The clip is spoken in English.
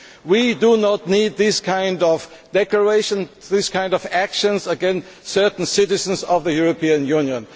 We do not need this kind of declaration or this kind of action against certain citizens of the European Union.